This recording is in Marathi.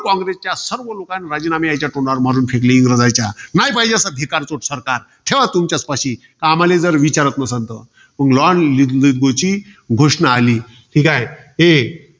कॉंग्रेसच्या सर्व लोकांनी राजीनामे याच्या तोंडावर फेकून मारले. इंग्रजाच्या. नाय पाहिजे असं भिकारचोट सरकार. ठेवा तुमच्याच पाशी. आम्हाले जर विचारात नसल तर. घोषणा आहे. ठीकाय. हे